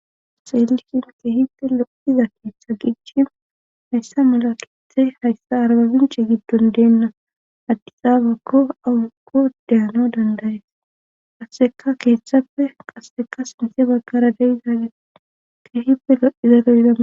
xeelishin keehippe loiza keeththa giichin hayssa malakethe hayssa arbabince giddon deenna addisaabakko awukko deyano dandayes qasseka keeththappe qasseka sinthe baggara deizaale keehippe lo7izaloydaa